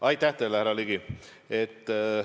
Aitäh teile, härra Ligi!